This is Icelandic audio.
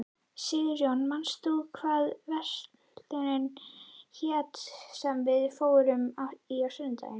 Sigurjón, manstu hvað verslunin hét sem við fórum í á sunnudaginn?